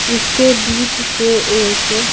इसके बीच से एक--